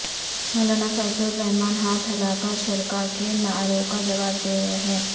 مولانا فضل الرحمن ہاتھ ہلا کر شرکا کے نعروں کا جواب دے رہے ہیں